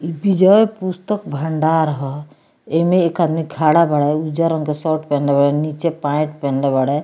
इ विजय पुस्तक भंडार हअ एमे एक आदमी खाड़ा बाड़ें उज्जर रंग के शर्ट पहिनले बाड़ें नीचे पेंट पहिनले बाड़ें।